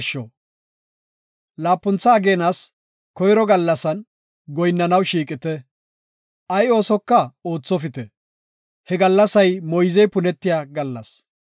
“Laapuntha ageenas koyro gallasan goyinnanaw shiiqite; ay oosoka oothopite; he gallasay moyzey punetiya gallas.